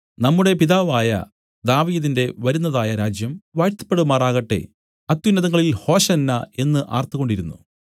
നമ്മുടെ പിതാവായ ദാവീദിന്റെ വരുന്നതായ രാജ്യം വാഴ്ത്തപ്പെടുമാറാകട്ടെ അത്യുന്നതങ്ങളിൽ ഹോശന്നാ എന്നു ആർത്തുകൊണ്ടിരുന്നു